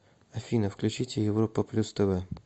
афина включите европа плюс тв